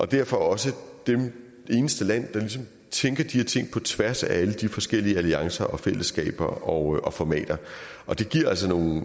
derfor også det eneste land der ligesom tænker de her ting på tværs af alle de forskellige alliancer og fællesskaber og og formater det giver altså nogle